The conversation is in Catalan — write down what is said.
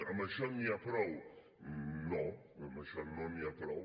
amb això n’hi ha prou no amb això no n’hi ha prou